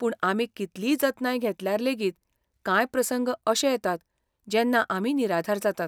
पूण आमी कितलीय जतनाय घेतल्यार लेगीत, कांय प्रसंग अशे येतात जेन्ना आमी निराधार जातात.